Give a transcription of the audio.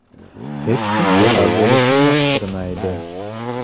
Hech kim kasal bo‘lishni yoqtirmaydi.